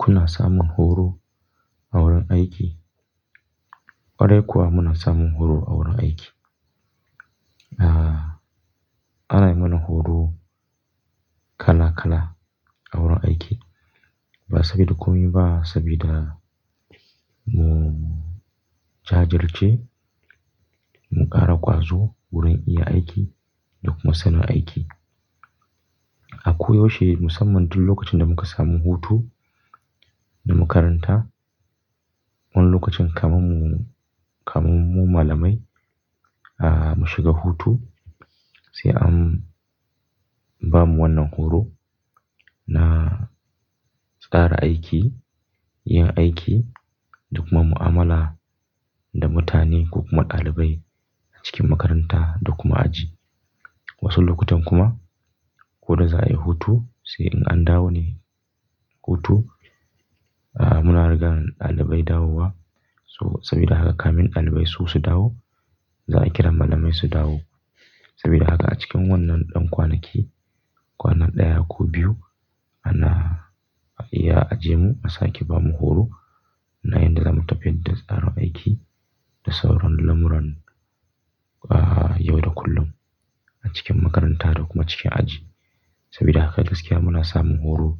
Kuna samun horo a wurin aiki? Kwarai kuwa muna samun horo a wurin aiki? Ah, ana yi mana horo kala kala a wurin aiki. Ba saboda komai ba sabida mu jajirce, mu ƙara ƙwazo wurin iya aiki da kuma sanin aiki. Ako yaushe musamman duk lokacin da muka samu hutu na makaranta. Wani lokacin kamar mu, kamar mu malamai ah, mu shiga hutu sai an ba mu wannan horo na tsara aiki, yin aiki da kuma mu'amala da mutane ko kuma ɗalibai a cikin makaranta da kuma aji. Wasu lokutan kuma ko da za'a yi hutu sai in an dawo ne hutu. Ah, muna riga ɗalibai dawowa so sabida haka kamin ɗalibai su su dawo za'a kira malamai su dawo. Sabida haka a cikin wannan ɗan kwanaki, kwana ɗaya ko biyu ana iya ajiye mu a sake ba mu horo na yadda zamu tafiyar da tsaran aiki da sauran lamuran ah, yau da kullum a cikin makaranta da kuma cikin aji. Sabida haka gaskiya muna samun horo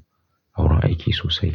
a wurin aiki sosai.